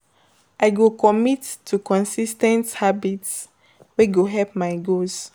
I go commit to consis ten t habits wey go help my goals.